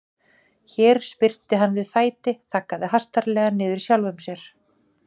Hér spyrnti hann við fæti, þaggaði hastarlega niður í sjálfum sér.